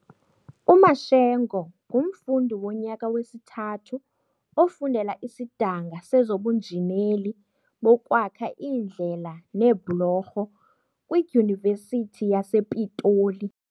UMashego ngumfundi wonyaka wesithathu ofundela isidanga sezobunjineli bokwakha iindlela neebhulorho kwiDyunivesithi yasePitoli.